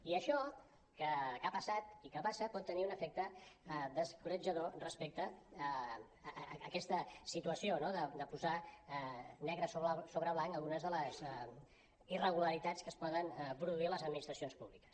i això que ha passat i que passa pot tenir un efecte descoratjador respecte a aquesta situació no de posar negre sobre blanc algunes de les irregularitats que es poden produir a les administracions públiques